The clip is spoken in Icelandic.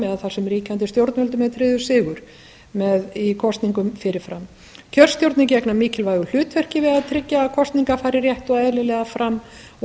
eða þar sem ríkjandi stjórnvöldum er tryggður eiga í kosningum fyrir fram kjörstjórnir gegna mikilvægu hlutverki við að tryggja að kosningar fari rétt og eðlilega fram og